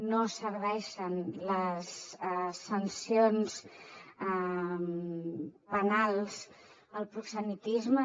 no serveixen les sancions penals al proxenetisme